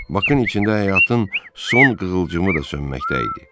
Bakın içində həyatın son qığılcımı da sönməkdə idi.